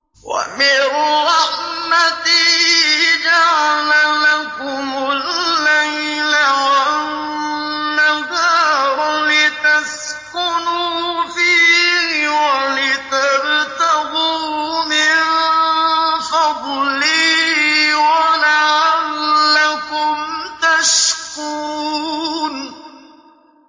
وَمِن رَّحْمَتِهِ جَعَلَ لَكُمُ اللَّيْلَ وَالنَّهَارَ لِتَسْكُنُوا فِيهِ وَلِتَبْتَغُوا مِن فَضْلِهِ وَلَعَلَّكُمْ تَشْكُرُونَ